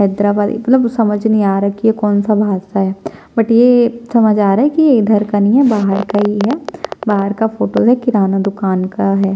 हैदराबाद की मतलब समझ ही नहीं आ रहा कि ये कौन -सा भाषा है बट ये समझ में आ रहा है कि ये इधर का नइ है बाहर का ही है बाहर का फोटो है किराना दुकान का हैं।